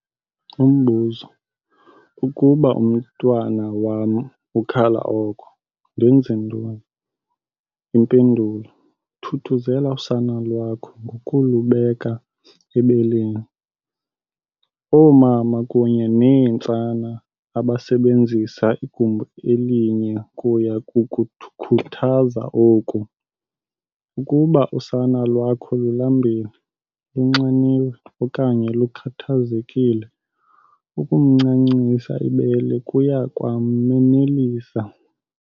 Umbuzo- Ukuba umntwana wam ukhala oko, ndenze ntoni? Impendulo- Thuthuzela usana lwakho ngokulubeka ebeleni. Oomama kunye neentsana abasebenzisa igumbi elinye kuya kukukhuthaza oku. Ukuba usana lwakho lulambile, lunxaniwe okanye lukhathazekile, ukumncancisa ibele kuya kwamnelisa.